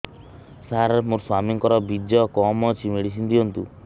ସାର ମୋର ସ୍ୱାମୀଙ୍କର ବୀର୍ଯ୍ୟ କମ ଅଛି ମେଡିସିନ ଦିଅନ୍ତୁ